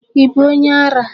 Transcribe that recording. Ị bụ onye ara?